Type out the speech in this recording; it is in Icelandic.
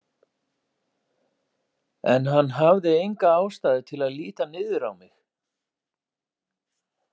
En hann hafði enga ástæðu til að líta niður á mig.